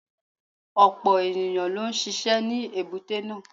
Ọ̀pọ̀ ẹ̀yàn ló ń ṣisẹ́ ní èbúté náà.